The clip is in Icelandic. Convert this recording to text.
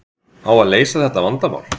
Á að leysa þetta vandamál?